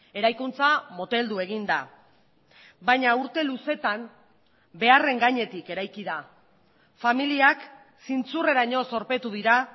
eraikuntza moteldu egin da baina urte luzeetan beharren gainetik eraiki da familiak zintzurreraino zorpetu dira